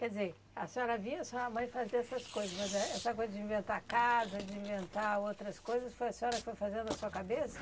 Quer dizer, a senhora via sua mãe fazer essas coisas, mas éh essa coisa de inventar casa, de inventar outras coisas, foi a senhora que foi fazendo da sua cabeça?